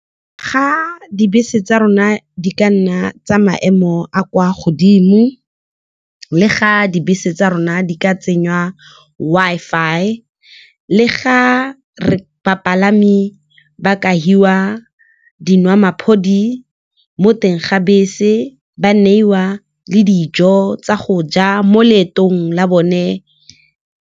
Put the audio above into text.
Ga dibese tsa rona di ka nna tsa maemo a a kwa godimo, le ga dibese tsa rona di ka tsenngwa Wi-Fi, le ga bapalami ba ka fiwa mo teng ga bese, ba neiwa le dijo tsa go ja mo leetong la bone.